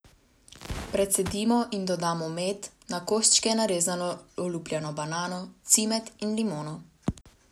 Precedimo in dodamo med, na koščke narezano olupljeno banano, cimet in limono.